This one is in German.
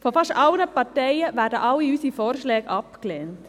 Von fast allen Parteien werden alle unsere Vorschläge abgelehnt.